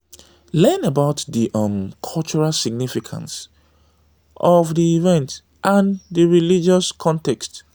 learn about di um cultural significance of di event and di religious context